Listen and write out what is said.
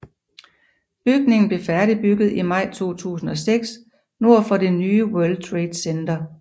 Bygningen blev færdigbygget i maj 2006 nord for det nye World Trade Center